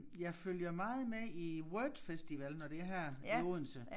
Jeg følger meget med i Word Festival når det er her i Odense